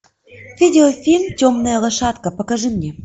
видео фильм темная лошадка покажи мне